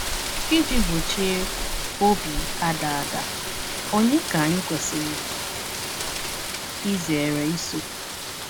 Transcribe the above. Iji gbochie obi ada ada, ònye ka anyị kwesịrị izere iso?